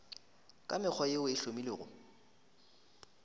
ka mekgwa yeo e hlomilwego